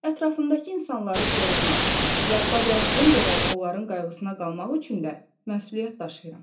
Ətrafımdakı insanları qorumaq və bacardığım qədər onların qayğısına qalmaq üçün də məsuliyyət daşıyıram.